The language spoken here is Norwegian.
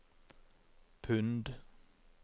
pund